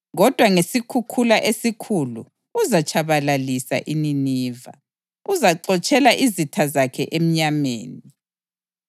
kodwa ngesikhukhula esikhulu uzatshabalalisa iNiniva; uzaxotshela izitha zakhe emnyameni.